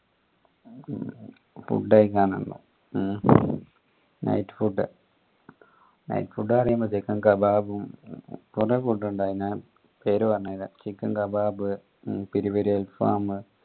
food കയ്ക്കാൻ night food night food ന്നു പറീമ്പത്തേക്കും കബാബും കൊറേ food ഇണ്ടായിനെ പേര് പറഞ്ഞേരെ chicken kebab peri peri alfam